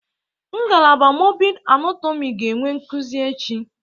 Ngalaba mọrbịd anatomị ga-enwe nkuzi echi.